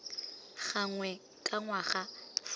gangwe ka ngwaga fa fela